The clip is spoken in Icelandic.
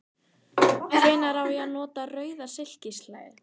Hvenær á ég að nota rauða silkislæðu?